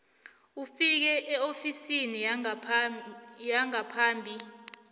ufike eofisini yengaphambi